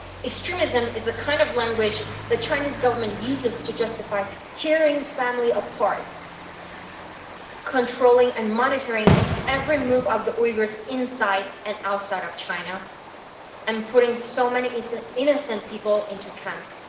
Extremism' is the kind of language the Chinese Government uses to justify tearing families apart, controlling and monitoring every move of the Uyghurs inside and outside of China, and putting so many innocent people into camps.